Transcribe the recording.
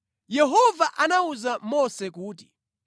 Yehova anawuza Mose kuti,